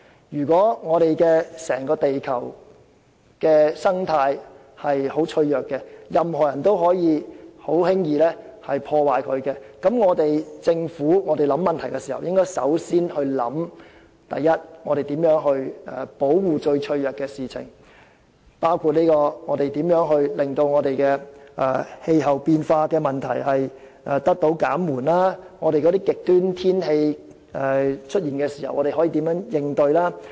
如果整個地球的生態非常脆弱，任何人也可以輕易破壞，那麼政府在思考問題時便要首先考慮如何保護最脆弱的部分，包括如何令氣候變化問題得到紓緩，以及當極端天氣出現時可以如何應對。